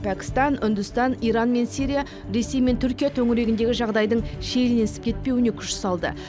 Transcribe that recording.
пәкістан үндістан иран мен сирия ресей мен түркия төңірегіндегі жағдайдың шиеленісіп кетпеуіне күш салды